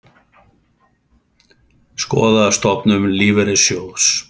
Skoða stofnun lífeyrissjóðs